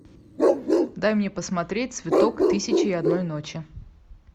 дай мне посмотреть цветок тысяча и одной ночи